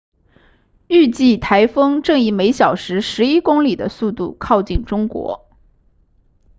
预计台风正以每小时十一公里的速度靠近中国